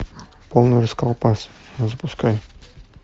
полный расколбас запускай